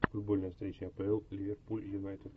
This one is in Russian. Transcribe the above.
футбольная встреча апл ливерпуль юнайтед